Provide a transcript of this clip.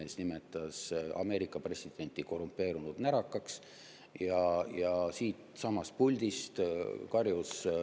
Tema nimetas Ameerika presidenti korrumpeerunud närakaks ja siitsamast puldist karjus ...